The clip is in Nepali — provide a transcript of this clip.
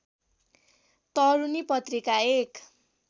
तरूनी पत्रिका एक